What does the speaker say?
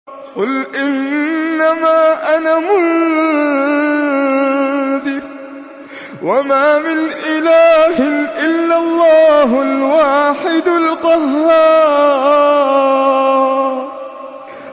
قُلْ إِنَّمَا أَنَا مُنذِرٌ ۖ وَمَا مِنْ إِلَٰهٍ إِلَّا اللَّهُ الْوَاحِدُ الْقَهَّارُ